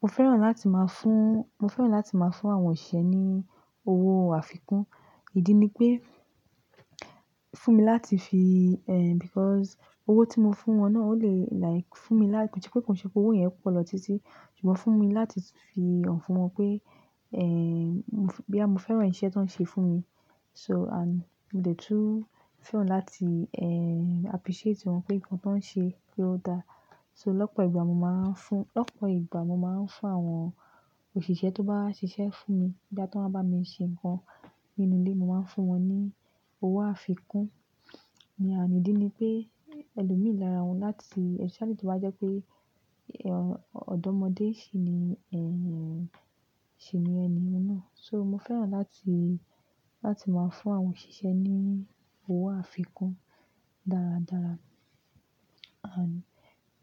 Mo fẹ́ràn láti máa fún, mo fẹ́ràn láti máa fún àwọn òṣìṣẹ́ ní owó àfikún. Ìdí ni pé, fún mi láti fi, eh, because owó tí mo fún wọn náà o le like fún mi láti, kí n ṣe pé kí n ṣe pé owó yẹn po lọ títí. Ṣùgbọ́n fún mi láti fi hàn fún wọn pé, eh, boya mo fẹ́ràn iṣẹ́ ti won ṣe fún mi. So and mo dẹ̀ tún fẹ́ràn láti, eh, appreciate wọn pé nǹkan ti woń ṣe pé ó dá. So lọ́pọ̀ ìgbà mo máa ń fún, lọ́pọ̀ ìgbà mo máa ń fún àwọn òṣìṣẹ́ tó bá ṣiṣẹ́ fún mi, boya ti won wa bá mi ṣe nǹkan nínú ilé, mo máa ń fún wọn ní owó àfikún. And ìdí ni pé ẹlòmíì lára wọn láti, especially tó bá jẹ́ pé ọ̀dọ́mọdé sì ni, eh, sì ni ẹni náà. So mo fẹ́ràn láti, láti máa fún àwọn òṣìṣẹ́ ní owó àfikún dáradára. And